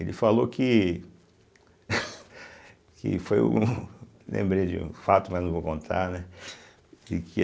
Ele falou que que foi o. Lembrei de um fato, mas não vou contar, né.